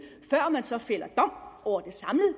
før man så fælder dom over